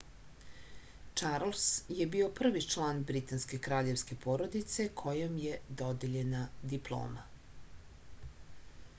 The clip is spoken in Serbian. čarls je bio prvi član britanske kraljevske porodice kojem je dodeljena diploma